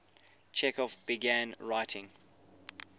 chekhov began writing